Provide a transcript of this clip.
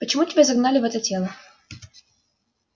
почему тебя загнали в это тело